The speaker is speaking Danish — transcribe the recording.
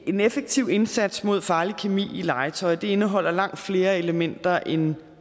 en effektiv indsats mod farlig kemi i legetøj indeholder langt flere elementer end